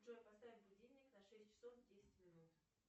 джой поставь будильник на шесть часов десять минут